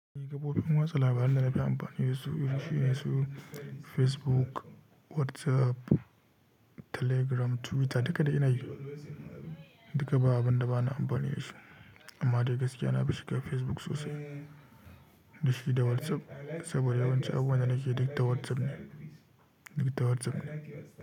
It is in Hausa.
Ni kafofin watsa labaran da nafi amfani da su, irin shine su Facebook, WhatsApp, Telegram, Twitter duka dai ina yi, duka ba abun da bana amfani da shi. Amma dai gaskiya na fi shiga Facebook sosai, da shi da WhatsApp, saboda yawanci abubuwan da nake yi duk da WhatsApp ne, duk ta WhatsApp ne.